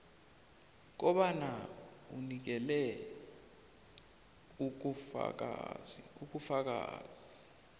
kobana unikele ubufakazi